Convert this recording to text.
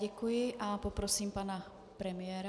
Děkuji a poprosím pana premiéra.